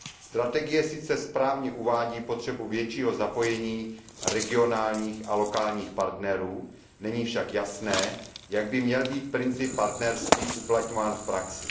Strategie sice správně uvádí potřebu většího zapojení regionálních a lokálních partnerů, není však jasné, jak by měl být princip partnerství uplatňován v praxi.